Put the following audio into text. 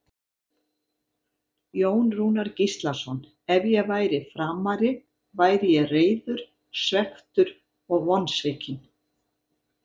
Jón Rúnar Gíslason Ef ég væri Framari væri ég reiður, svekktur og vonsvikinn.